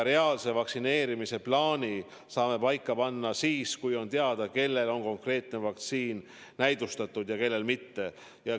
Reaalse vaktsineerimise plaani saame paika panna siis, kui on teada, kelle puhul on konkreetne vaktsiin näidustatud ja kelle puhul mitte.